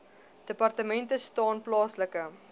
departement staan plaaslike